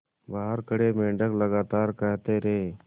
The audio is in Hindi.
बाहर खड़े मेंढक लगातार कहते रहे